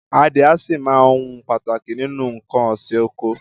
Adìẹ a sì máa ohun pàtàkì nínú nǹkan òsì oko.